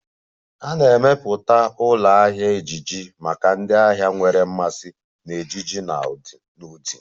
A na-emepụta ụlọ ahịa ejiji maka ndị ahịa nwere mmasị na ejiji na ụdị